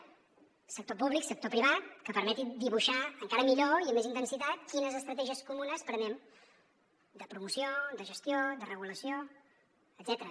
el sector públic sector privat que permetin dibuixar encara millor i amb més intensitat quines estratègies comunes prenem de promoció de gestió de regulació etcètera